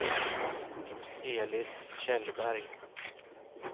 Elis Kjellberg